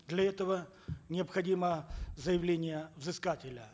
для этого необходимо заявление взыскателя